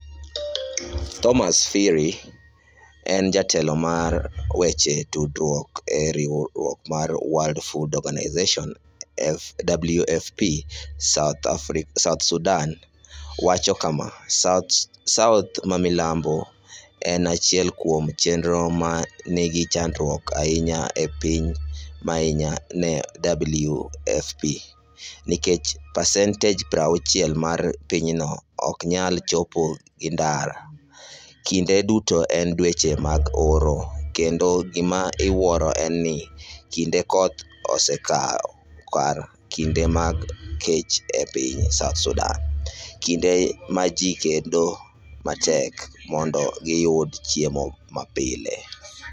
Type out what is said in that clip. Thomson Phiri en jatelo mar weche tudruok e riwruok mar World Food Organization, WFP, South Sudan wacho kama: "South mamilambo en achiel kuom chenro ma nigi chandruok ahinya e piny mangima ne WFP, nikech pasent 60 mar pinyno ok nyal chopi gi ndara, kinde duto en dweche mag oro, kendo gima iwuoro en ni kinde koth osekawo kar kinde mag kech e piny South Sudan, kinde ma ji kedo matek mondo giyud chiemo mapile.